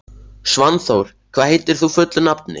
Svanþór, hvað heitir þú fullu nafni?